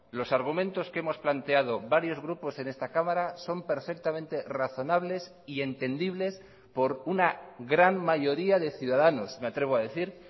los argumentos que hemos planteado varios grupos en esta cámara son perfectamente razonables y entendibles por una gran mayoría de ciudadanos me atrevo a decir